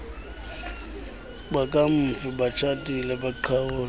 bakamfi batshatile baqhawule